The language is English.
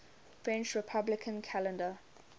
french republican calendar